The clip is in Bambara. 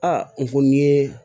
A n ko n'i ye